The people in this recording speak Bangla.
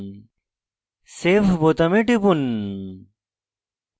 save বোতামে টিপুন